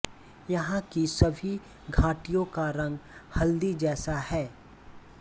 यहाँ की सभी घाटियों का रंग हल्दी जैसा है